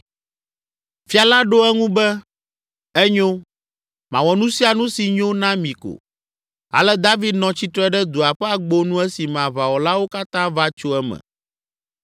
Fia la ɖo eŋu be, “Enyo, mawɔ nu sia nu si nyo na mi ko.” Ale David nɔ tsitre ɖe dua ƒe agbonu esime aʋawɔlawo katã va tso eme.